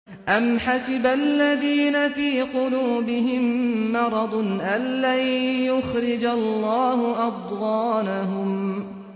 أَمْ حَسِبَ الَّذِينَ فِي قُلُوبِهِم مَّرَضٌ أَن لَّن يُخْرِجَ اللَّهُ أَضْغَانَهُمْ